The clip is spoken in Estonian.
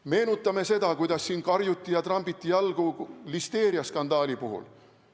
Meenutame seda, kuidas siin karjuti ja trambiti jalgu listeeriaskandaali puhul.